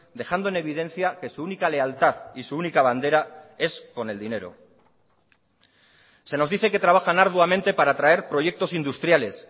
dejando en evidencia que su única lealtad y su única bandera es con el dinero se nos dice que trabajan arduamente para traer proyectos industriales